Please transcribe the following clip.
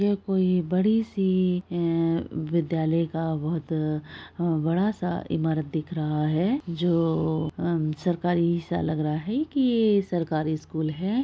यह कोई बड़ी सी ऐ विद्यालय का बहुत अ अ बड़ा सा ईमारत दिख रहा है जो सरकारी सा लग रहा है की ये सरकारी स्कूल है।